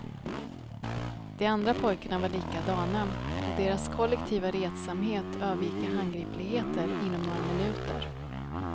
De andra pojkarna var likadana och deras kollektiva retsamhet övergick i handgripligheter inom några minuter.